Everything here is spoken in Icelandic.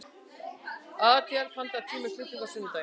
Adíel, pantaðu tíma í klippingu á sunnudaginn.